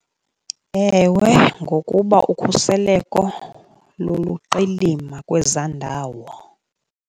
Ewe ngokuba ukhuseleko luluqilima kwezaa ndawo.